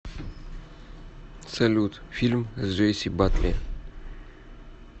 салют фильм с джейси батли